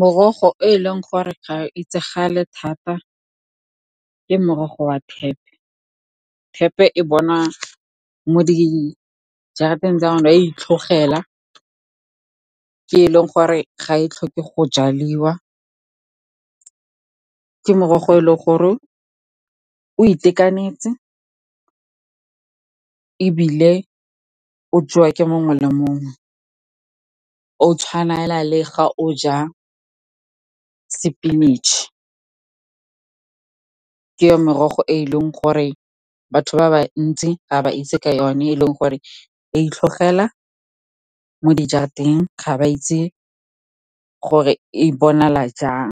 Morogo e leng gore ga e itsagale thata ke morogo wa thepe. Thepe e bonwa mo dijarateng tsa rona, e a itlhogela, ke e leng gore ga e tlhoke go jaliwa. Ke morogo o e leng gore o itekanetseng, e bile o jewa ke mongwe le mongwe, o tshwana le go ja sepinatše. Ke merogo e e leng gore batho ba bantsi ga ba itse ka yone, e leng gore e itlhogela mo dijarateng. Ga ba itse gore e bonala jang.